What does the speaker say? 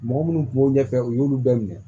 Mɔgɔ minnu kun b'u ɲɛfɛ u y'olu bɛɛ minɛ